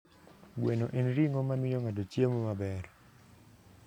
Gweno en ring'o mamiyo ng'ato chiemo maber.